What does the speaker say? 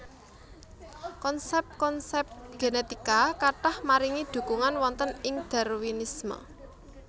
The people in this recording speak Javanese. Konsép konsép génétika kathah maringi dhukunung wonten ing Darwinisme